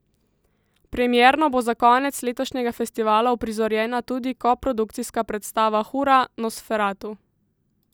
Premierno bo za konec letošnjega festivala uprizorjena tudi koprodukcijska predstava Hura, Nosferatu!